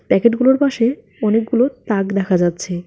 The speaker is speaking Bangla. প্যাকেটগুলোর পাশে অনেকগুলো তাক দেখা যাচ্ছে।